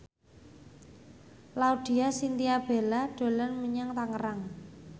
Laudya Chintya Bella dolan menyang Tangerang